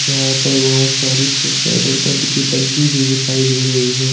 यहाँ पर बहोत सारी पुफेट और पपी कि टंकी भी दिखाई दे रही है।